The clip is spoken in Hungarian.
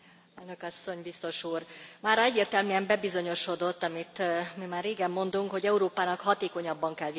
Mára egyértelműen bebizonyosodott, amit már régen mondunk, hogy Európának hatékonyabban kell védenie a külső határait.